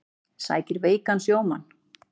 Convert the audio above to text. Sækir veikan sjómann